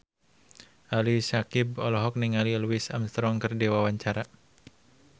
Ali Syakieb olohok ningali Louis Armstrong keur diwawancara